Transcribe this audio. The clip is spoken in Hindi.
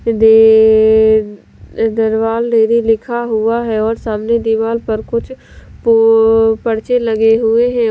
डेडे- दरवाल डेरी लिखा हुआ है और सामने दीवार पर कुछ प पर्चे लगे हुए हैं।